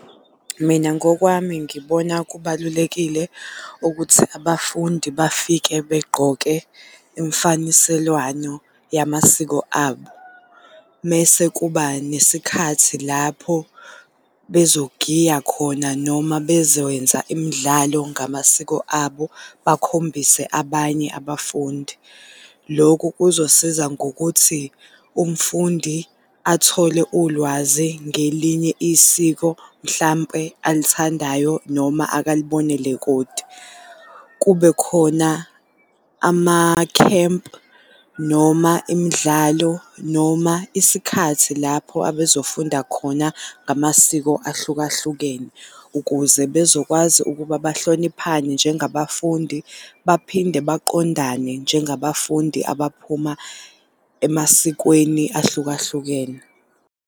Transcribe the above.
Mina ngokwami ngibona kubalulekile ukuthi abafundi bafike begqoke imfaniselwano yamasiko abo. Mese kuba nesikhathi lapho bezogiya khona noma bezokwenza imdlalo ngamasiko abo, bakhombise abanye abafundi. Lokhu kuzosiza ngokuthi umfundi athole ulwazi ngelinye isiko mhlampe alithandayo noma akalibonele kude. Kubekhona amakhempu noma imidlalo noma isikhathi lapho abezofunda khona ngamasiko ahlukahlukene, ukuze bezokwazi ukuba bahloniphane njengabafundi, baphinde baqondane njengabafundi abaphuma emasikweni ahlukahlukene.